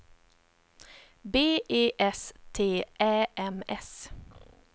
B E S T Ä M S